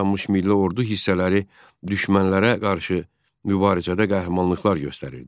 Yeni yaranmış milli ordu hissələri düşmənlərə qarşı mübarizədə qəhrəmanlıqlar göstərirdi.